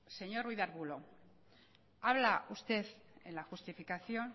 señor ruiz de arbulo habla usted en la justificación